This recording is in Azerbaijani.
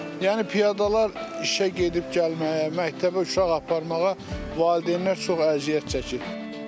Yəni piyadalar işə gedib-gəlməyə, məktəbə uşaq aparmağa valideynlər çox əziyyət çəkir.